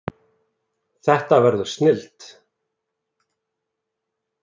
Þetta verður snilld